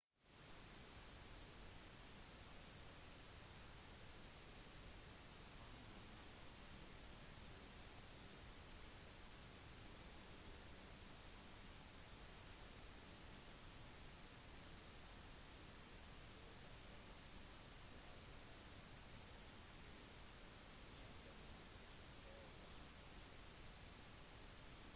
under nasjonaliseringen i 2010 ble den gjeldende hovedgatebanken northern rock plc skilt ut fra den «dårlige» delen av northern rock plc eiendomsforvaltning